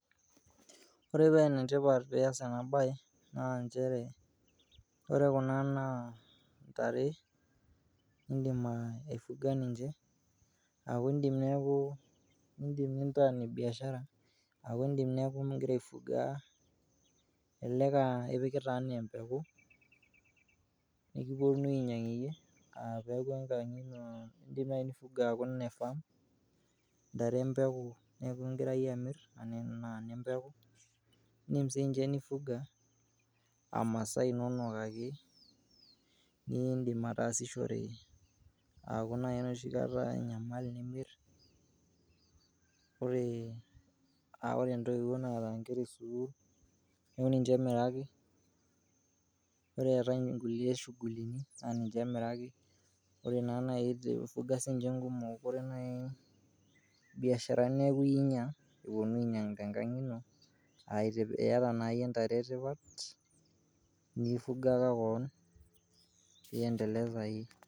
Ore pee enetipat pee iyas ena baye naa njere ore kuna naa ntare nindim aifuga ninje, aaku indim neeku indim nintaa ine biashara aku indim neeku ning'ira aifuga, elelek aa ipikita enee mpeku pee kiponunui ainyang'ie iyie, indim nai peeku enkang' ino, indim nai nifugaa aaku ine farm, ntare e mpeku neeku ing'ira iyie amir enaa ine mpeku. Indim siinje nifuga aa masaa inonok ake, niindim ataasishore aaku nai enoshi kata enyamali nimir, ore a ore ntoiwuo naata nkera e sukuul neeku ninje emiraki. Ore eetai nkulie shughulini, naa ninje emiraki, ore naa nai piifuga siinje nkumok kore nai biasharani neeku iyie inyang' epuno ainyang'u tenkang' ino a iata naa iyie ntare e tipat, nifugaka koon pee ienteleza iyie.